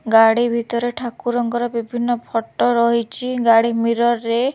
ଗାଡି ଭିତରେ ଠାକୁରଙ୍କର ବିଭିନ୍ନ ଫଟୋ ରହିଛି ଗାଡି ମିରର୍ ରେ--